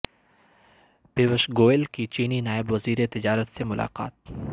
پیوش گوئل کی چینی نائب وزیر تجارت سے ملاقات